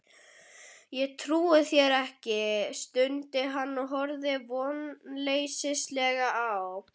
Ég trúi þér ekki, stundi hann og horfði vonleysislega á